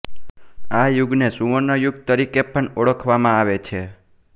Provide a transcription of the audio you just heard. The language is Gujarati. આ યુગને સુવર્ણ યુગ તરીકે પણ ઓળખવામાં આવે છે